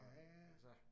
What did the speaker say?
Ja ja